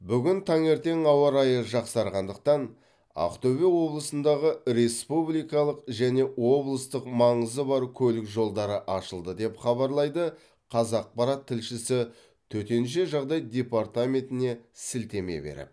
бүгін таңертең ауа райы жақсарғандықтан ақтөбе облысындағы республикалық және облыстық маңызы бар көлік жолдары ашылды деп хабарлайды қазақпарат тілшісі төтенше жағдай департаментіне сілтеме беріп